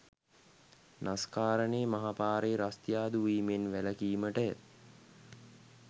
නිස්කාරණේ මහපාරේ රස්තියාදු වීමෙන් වැළකීමටය.